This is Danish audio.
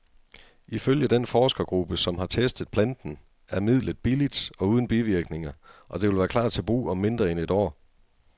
Ifølge den forskergruppe, som har testet planten, er midlet billigt og uden bivirkninger, og det vil klar til brug om mindre end et år.